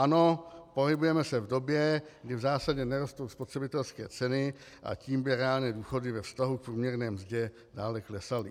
Ano, pohybujeme se v době, kdy v zásadě nerostou spotřebitelské ceny, a tím by reálné důchody ve vztahu k průměrné mzdě dále klesaly.